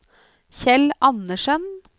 Kjell Anderssen